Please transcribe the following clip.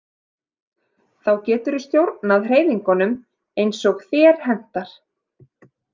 Þá getur þú stjórnað hreyfingunum eins og þér hentar